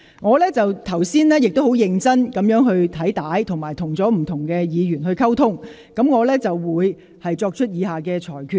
我剛才認真翻看錄影片段，並與不同議員溝通。我會作出以下裁決。